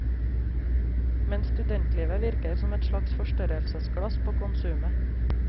Men studentlivet virker som et slags forstørrelsesglass på konsumet.